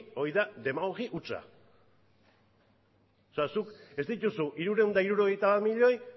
hori da demagogi hutsa o sea zuk ez dituzu hirurehun eta hirurogeita bat milioi